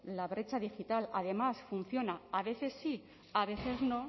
la brecha digital además funciona a veces sí a veces no